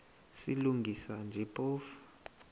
silungisa nje phofu